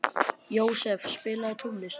Jósef, spilaðu tónlist.